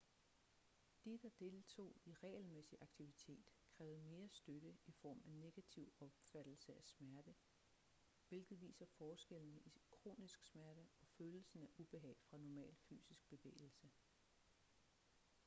de der deltog i regelmæssig aktivitet krævede mere støtte i form af negativ opfattelse af smerte hvilket viser forskellene i kronisk smerte og følelsen af ubehag fra normal fysisk bevægelse